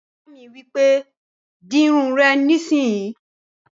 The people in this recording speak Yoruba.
Ìyá mi wípé, "Di irun rẹ nísìínyi!"